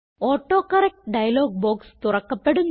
autocorrect dialog box തുറക്കപ്പെടുന്നു